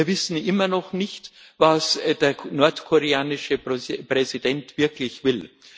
Und wir wissen immer noch nicht, was der nordkoreanische Präsident wirklich will.